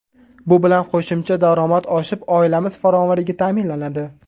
Bu bilan qo‘shimcha daromad oshib, oilamiz farovonligi ta’minlanadi.